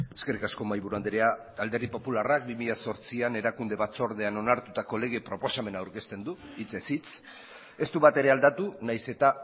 eskerrik asko mahaiburu andrea alderdi popularrak bi mila zortzian erakunde batzordean onartutako lege proposamena aurkezten du hitzez hitz ez du batere aldatu nahiz eta